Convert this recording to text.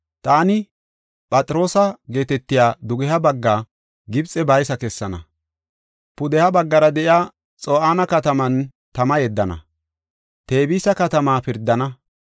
Taani Phatroosa geetetiya dugeha bagga Gibxe baysa kessana; pudeha baggara de7iya Xo7aane kataman tama yeddana; Tebisa katama pirdana.